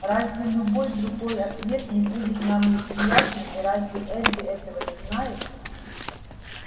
разве любой другой ответ не будет нам неприятен и разве эрби этого не знает